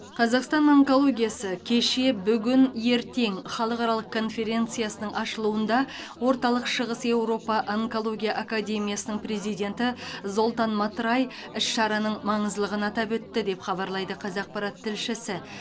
қазақстан онкологиясы кеше бүгін ертең халықаралық конференциясының ашылуында орталық шығыс еуропа онкология академиясының президенті золтан матрай іс шараның маңыздылығын атап өтті деп хабарлайды қазақпарат тілшісі